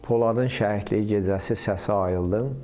Poladın şəhidlik gecəsi səsi ayıldı.